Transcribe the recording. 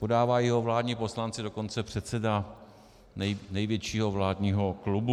Podávají ho vládní poslanci, dokonce předseda největšího vládního klubu.